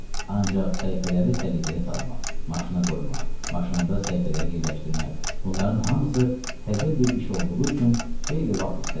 Ancaq səhifələri səliqəyə salmaq, maşına qoymaq, maşında səhifələri yerləşdirmək, bunların hamısı təzə bir iş olduğu üçün xeyli vaxt istədi.